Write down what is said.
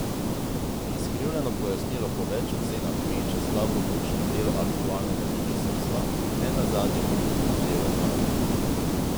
Izkrivljeno pojasnilo po več ocenah meče slabo luč na delo aktualnega ministrstva, ne nazadnje pa tudi na delo vlade.